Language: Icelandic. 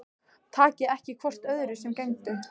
Takið ekki hvort öðru sem gefnu